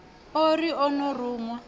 o ri o no ruṅwa